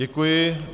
Děkuji.